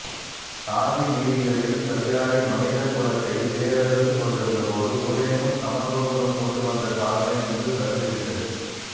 சாதி வீதிகளில் சதிராடி மனித குலத்தை வேரறுத்துக் கொண்டிருந்தபோது ஊரெங்கும் சமத்துவபுரம் கொண்டு வந்த சாதனை இன்று சரிந்து விட்டது